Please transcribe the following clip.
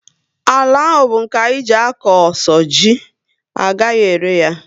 Àlà áhù bu nke anyị jee a kọ so ji, agaghị ere ya